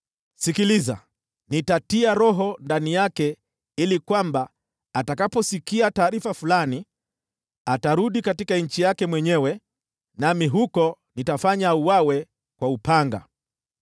Sikiliza! Nitatia roho fulani ndani yake ili kwamba atakaposikia taarifa fulani, atarudi nchi yake mwenyewe, nami huko nitafanya auawe kwa upanga.’ ”